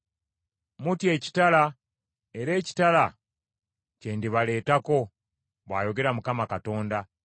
Mutya ekitala, era ekitala kye ndibaleetako, bw’ayogera Mukama Katonda.